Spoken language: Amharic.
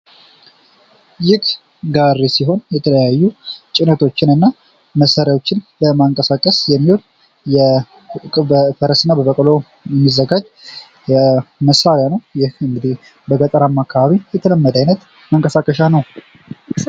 ይህ ጋሪ ሲሆን፤ የተለያዩ ጭነቶችንና መሳሪያዎችን ለማንቀሳቀስ የሚውል በፈረስ በበቅሎ የሚዘጋጅ መሳሪያ ነው። ይህ እንግዲህ በገጠራማ አካባቢ የተለመደ አይነት መንቀሳቀሻ ነው።